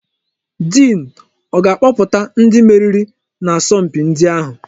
Diin ọ ga-akpọpụta ndị meriri n'asọ mpi ndi ahụ?